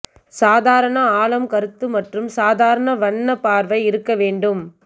சாதாரண ஆழம் கருத்து மற்றும் சாதாரண வண்ண பார்வை இருக்க வேண்டும்